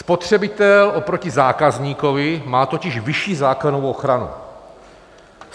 Spotřebitel oproti zákazníkovi má totiž vyšší zákonnou ochranu.